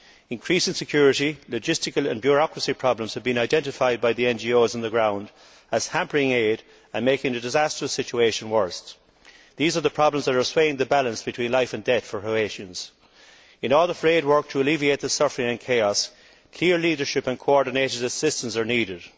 Increasing security, logistical and bureaucracy problems have been identified by the NGOs on the ground as hampering aid and making a disastrous situation worse. These are the problems that are swaying the balance between life and death for Haitians. In all the frayed work to alleviate the suffering and chaos, clear leadership and coordinated assistance are needed.